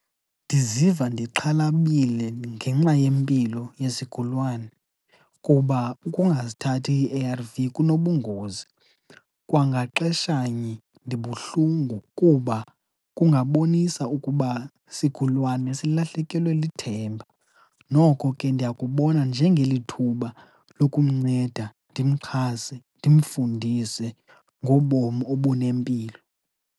Ndiziva ndixhalabile ngenxa yempilo yesigulwane kuba ukungazithathi ii-A_R_V kunobungozi. Kwangaxeshanye ndibuhlungu kuba kungabonisa ukuba sigulwane silahlekelwe lithemba. Noko ke ndiyakubona njengelithuba lokumnceda, ndimxhase, ndimfundise ngobomi obunempilo.